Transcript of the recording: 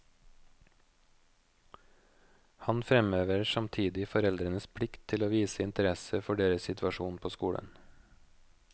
Han fremhever samtidig foreldrenes plikt til å vise interesse for deres situasjon på skolen.